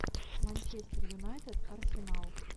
манчестер юнайтед арсенал